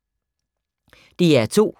DR2